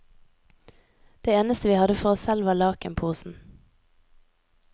Det eneste vi hadde for oss selv, var lakenposen.